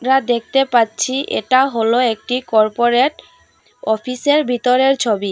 আর দেখতে পাচ্ছি এটা হল একটি কর্পোরেট অফিসের ভিতরের ছবি।